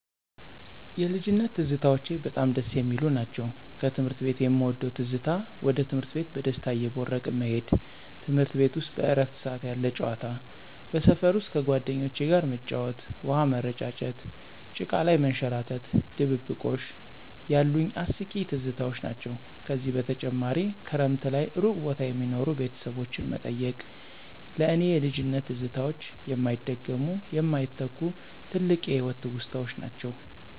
የልጅነት ትዝታዎቼ በጣም ደስ የሚሉ ናቸው። ከትምህርት ቤት የምወደው ትዝታ ወደ ትምህርት ቤት በደስታ እየቦረቅን መሄድ፤ ትምርት ቤት ውስጥ በእረፍት ሰዓት ያለ ጨዋታ። በሰፈር ውስጥ ከጓደኞቼ ጋር መጫወት፣ ውሃ ምረጫጨት፣ ጭቃ ላይ መንሸራረት፣ ድብብቆሽ ያሉኝ አስቂኝ ትዝታዎች ናቸው። ከዚህ በተጨማሪ ክረምት ላይ እሩቅ ቦታ የሚኖሩ ቤተሰቦችን መጠየቅ። ለእኔ የልጅነት ትዝታዎች የማይደገሙ፣ የማይተኩ፣ ትልቅ የህይወት ትውስታዎች ናቸው።